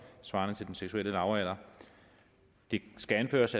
svarende til den seksuelle lavalder det skal anføres